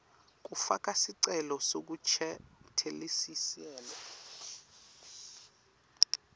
kufaka sicelo sekuncesheteliselwa